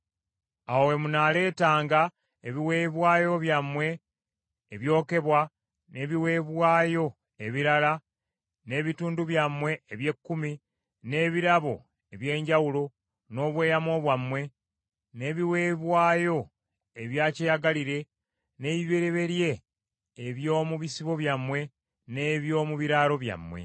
awo we munaaleetanga ebiweebwayo byammwe ebyokebwa ne biweebwayo ebirala, n’ebitundu byammwe eby’ekkumi, n’ebirabo eby’enjawulo, n’obweyamo bwammwe, n’ebiweebwayo ebya kyeyagalire, n’ebibereberye eby’omu bisibo byammwe n’eby’omu biraalo byammwe.